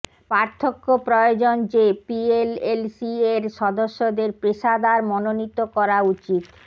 পার্থক্য প্রয়োজন যে পিএলএলসি এর সদস্যদের পেশাদার মনোনীত করা উচিত